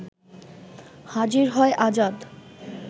হাজির হয় আজাদ